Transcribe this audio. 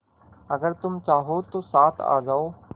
अगर तुम चाहो तो साथ आ जाओ